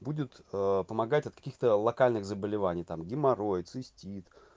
будет помогать от каких-то локальных заболеваний там геморрой цистит